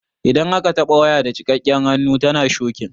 Idan aka taɓa waya da jikakken hannu tana shokin.